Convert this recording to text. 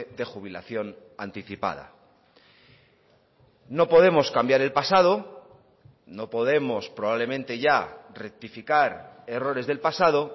de jubilación anticipada no podemos cambiar el pasado no podemos probablemente ya rectificar errores del pasado